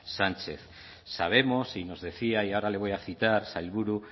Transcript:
sánchez sabemos y nos decía y ahora le voy a citar sailburu